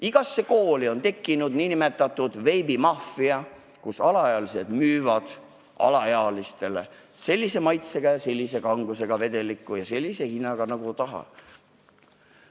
Igasse kooli on tekkinud nn veebimaffia, kus ühed alaealised müüvad teistele alaealistele sellise maitse, kanguse ja hinnaga vedelikku, nagu nad ise tahavad.